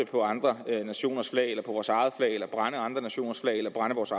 på andre nationers flag på vores eget flag brænder andre nationers flag af eller brænder vores